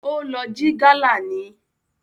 Ó lọ jí gálà ni